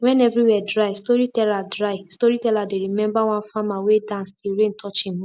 when everywhere dry storyteller dry storyteller dey remember one farmer wey dance till rain touch him hoe